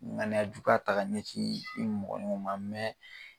ŋaniyajukuya ta k'a ɲɛsin i mɔgɔɲɔgɔn ma .